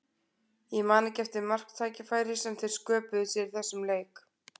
Ég man ekki eftir marktækifæri sem þeir sköpuðu sér í þessum leik.